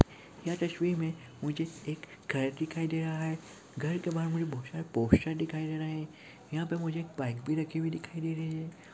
इस तस्वीर में मुझे एक घर दिखाई दे रहा है घर के बाहर मुझे बहुत सारा पोस्टर दिखाई दे रहे हैं यहां पर मुझे एक बाइक भी रखी हुई दिखाई दे रही है।